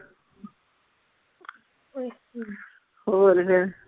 ਅੱਛਾ ਹੋਰ ਫੇਰ।